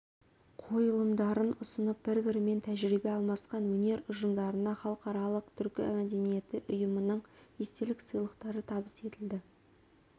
қойылымдарын ұсынып бір-бірімен тәжірибе алмасқан өнер ұжымдарына халықаралық түркі мәдениеті ұйымының естелік сыйлықтары табыс етілді